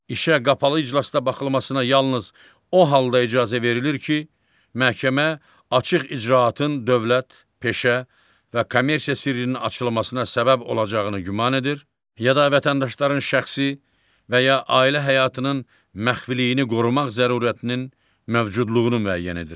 İşə qapalı iclasda baxılmasına yalnız o halda icazə verilir ki, məhkəmə açıq icraatın dövlət, peşə və kommersiya sirrinin açılmasına səbəb olacağını güman edir, ya da vətəndaşların şəxsi və ya ailə həyatının məxfiliyini qorumaq zərurətinin mövcudluğunu müəyyən edir.